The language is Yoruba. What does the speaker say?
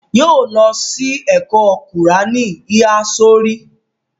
Yóó lọ sí ẹ̀kọ́ kùráánì híhá sórí.